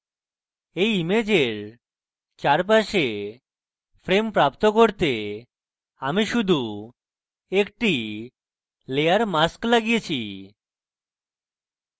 এই ইমেজের চারপাশে frame প্রাপ্ত করতে আমি শুধু একটি layer mask লাগিয়েছি